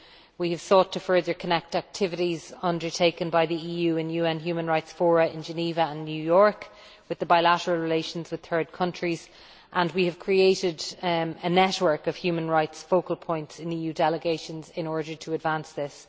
We have sought to further connect activities undertaken by the EU in UN human rights fora in Geneva and New York with the bilateral relations with third countries, and we have created a network of human rights focal points in EU delegations in order to advance this.